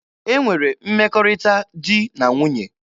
E nwere mmekọrịta di na nwunye.